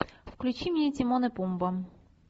включи мне тимон и пумба